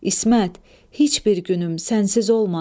İsmət, heç bir günüm sənsiz olmasın.